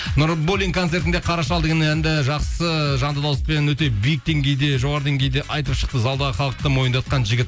нурбуллин концертінде қара шал деген әнді жақсы жанды дауыспен өте биік деңгейде жоғары деңгейде айтып шықты залдағы халықты мойындатқан жігіт